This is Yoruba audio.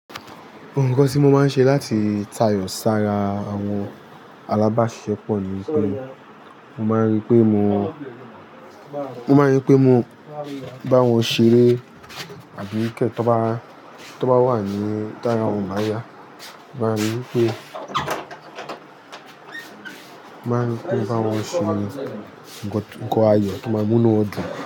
N kan tí mo máa ń ṣe láti tayọ̀ sára àwọn alábàáṣepọ̀ mi pé mo máa ń rí pé mo, mo máa ń rí pé mo bá wọn ṣeré àbí kẹ̀ tó bá, tó bá wà ní táyà wọn máa yá, mo máa rí pé, mo máa rí pé mo bá wọn ṣe nǹkan ayọ̀ tò máa múnú wòn dun.